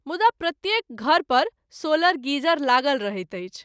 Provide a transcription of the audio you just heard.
मुदा प्रत्येक घर पर सोलर गीजर लागल रहैत अछि।